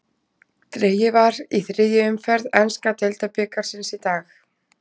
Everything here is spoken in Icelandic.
Dregið var í þriðju umferð enska deildabikarsins í dag.